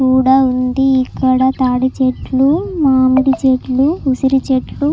కూడా ఉంది ఇక్కడ తాటి చెట్లు మామిడి చెట్లు ఉసిరి చెట్లు.